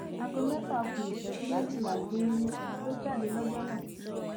aago mẹfà ku ìṣẹjú méjìlá geere ló jáde lọjọ náà